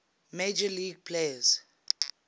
major league players